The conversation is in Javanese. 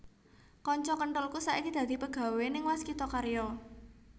Konco kenthelku saiki dadi pegawe ning Waskita Karya